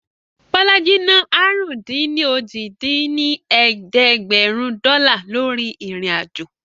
Bọlájí ná àrún-dín-ní-ojì dín ní ẹ̀ẹ́dẹ́gbẹ́rún dọ́là lórí ìrìn-àjò